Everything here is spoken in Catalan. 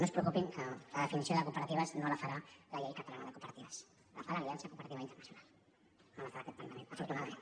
no es preocupin que la definició de cooperatives no la farà la llei catalana de cooperatives la fa l’aliança cooperativista internacional no la fa aquest parlament afortunadament